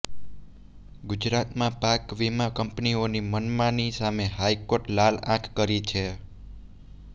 ગુજરાતમાં પાક વીમાં કંપનીઓની મનમાની સામે હાઈકોર્ટે લાલ આંખ કરી છે